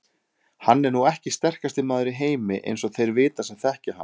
Hann er nú ekki sterkasti maður í heimi eins og þeir vita sem þekkja hann.